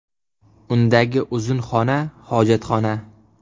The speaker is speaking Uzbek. Undagi uzun xona hojatxona.